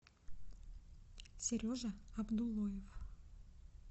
сережа абдуллоев